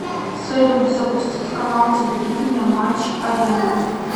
салют запустить канал телевидения матч арена